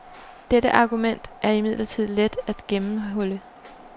Dette argument er imidlertid let at gennemhulle.